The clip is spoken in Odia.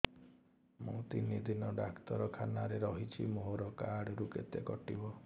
ମୁଁ ତିନି ଦିନ ଡାକ୍ତର ଖାନାରେ ରହିଛି ମୋର କାର୍ଡ ରୁ କେତେ କଟିବ